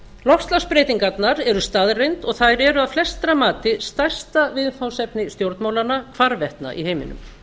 loftslagsbreytingarnar eru staðreynd og þær eru að flestra mati stærsta viðfangsefni stjórnmálanna hvarvetna í heiminum